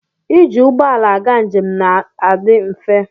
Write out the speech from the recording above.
Ịjị ụgbọala aga njem na-asi mfe.